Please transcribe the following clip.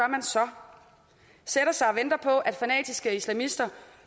man så sætter sig og venter på at fanatiske islamister